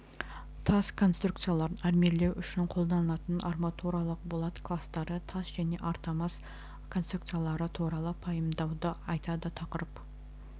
тас конструкцияларын армирлеу үшін қолданылатын арматуралық болат кластары тас және армотас конструкциялары туралы пайымдауды айтады тақырып